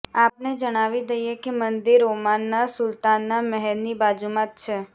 આપને જણાવી દઇએ કે મંદિર ઓમાનના સુલ્તાનના મહેલની બાજુમાં જ છે